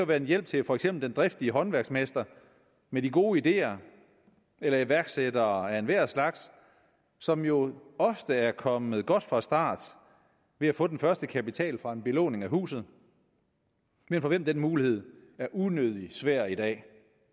være en hjælp til for eksempel den driftige håndværksmester med de gode ideer eller iværksættere af enhver slags som jo ofte er kommet godt fra start ved at få den første kapital fra en belåning af huset men for hvem den mulighed er unødigt svær i dag